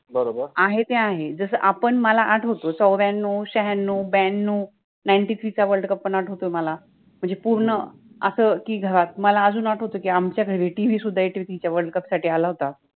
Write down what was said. बरोबर, जे आहे ते आहे, जस मला आठ्वतोय चौर्यान्नव, छ्यान्नव, ब्यान्नव, नाइनटि थ्रि {ninghty-three} चा वर्ल्ड कप {world cup} पन आठ्वतोय मला पुर्ण अस कि मला अजुन आठ्वतो कि आमच्या घरी टि. वि. {T. V. } सुद्धा एटि थ्रि {eighty-three} च्या वर्ल्ड कप {world cup} सठि आला होता.